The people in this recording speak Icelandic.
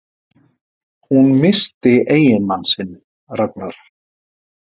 Hún missti eiginmann sinn, Ragnar